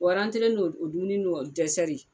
n'o dumuni n'o